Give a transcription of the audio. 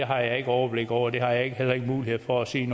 har jeg ikke overblik over og jeg har heller ikke mulighed for at sige